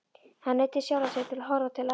Hann neyddi sjálfan sig til að horfa til hafs.